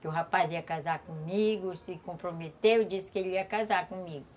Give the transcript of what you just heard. Que o rapaz ia casar comigo, se comprometeu, disse que ele ia casar comigo.